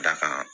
Dakan